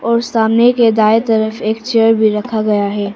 और सामने के दाएं तरफ एक चेयर भी रखा गया है।